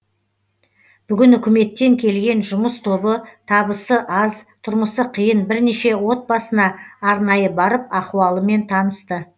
бүгін үкіметтен келген жұмыс тобы табысы аз тұрмысы қиын бірнеше отбасына арнайы барып ахуалымен танысты